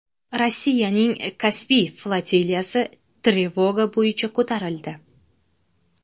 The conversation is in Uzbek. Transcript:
Rossiyaning Kaspiy flotiliyasi trevoga bo‘yicha ko‘tarildi.